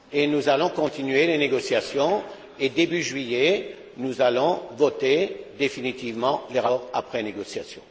Nous allons continuer les négociations et, début juillet, nous allons voter définitivement le rapport après négociation.